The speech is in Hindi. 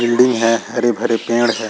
बिल्डिंग है हरे-भरे पेड़ है।